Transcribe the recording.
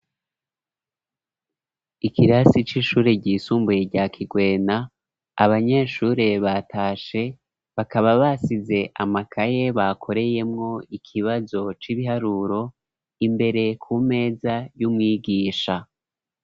Ikirasi c'ishure ry'isumbuye rya Kigwena abanyeshure batashe bakaba basize amakaye bakoreyemo ikibazo c'ibiharuro imbere ku meza y'umwigisha.